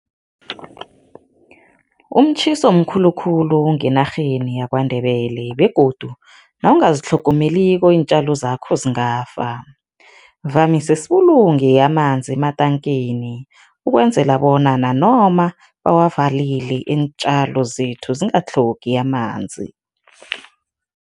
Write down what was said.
Umtjhiso mkhulukhulu ngenarheni yaKwaNdebele begodu nawungazitlhogomeliko iintjalo zakho zingafa. Vamise sibulunge amanzi ematankeni, ukwenzela bona nanoma bawavalile iintjalo zethu zingatlhogi amanzi.